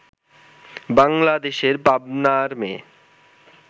বাংলাদেশের পাবনার মেয়ে